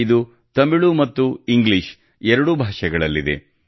ಇದು ತಮಿಳು ಮತ್ತು ಇಂಗ್ಲಿಷ್ ಎರಡೂ ಭಾಷೆಗಳಲ್ಲಿದೆ